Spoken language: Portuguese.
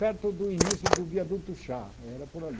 Perto do início do viaduto Chá, era por ali.